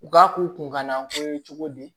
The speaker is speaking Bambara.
U k'a k'u kunkanna ko ye cogo di